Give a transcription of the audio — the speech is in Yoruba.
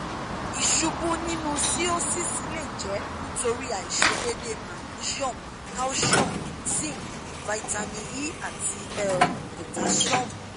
iṣubu ninu cirrhosis le jẹ nitori aiṣedede magnesium calcium zinc vitamin e ati um potassium